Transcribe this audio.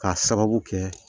K'a sababu kɛ